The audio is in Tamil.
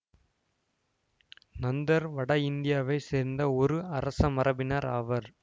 நந்தர் வட இந்தியாவை சேர்ந்த ஒரு அரச மரபினர் ஆவர்